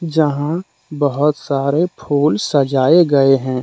जहां बहुत सारे फूल सजाए गए हैं।